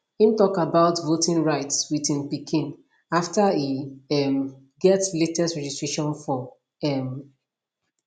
im tok about voting rights with im pikin after e um get latest registration form um